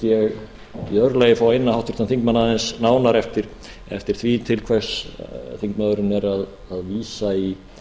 ég í öðru lagi fá að inna háttvirtan þingmann aðeins nánar eftir því til hvers þingmaðurinn er að vísa í